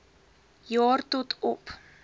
jaar tot op